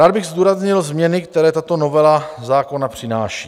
Rád bych zdůraznil změny, které tato novela zákona přináší.